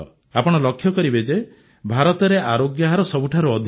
ଆପଣ ଲକ୍ଷ୍ୟ କରିବେ ଯେ ଭାରତରେ ଆରୋଗ୍ୟ ହାର ସବୁଠାରୁ ଅଧିକ